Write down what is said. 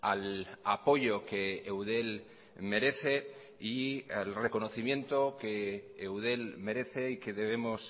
al apoyo que eudel merece y el reconocimiento que eudel merece y que debemos